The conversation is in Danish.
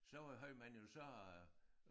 Så var havde man jo så